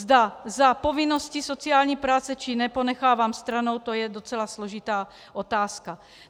Zda za povinnosti sociální práce, či ne ponechávám stranou, to je docela složitá otázka.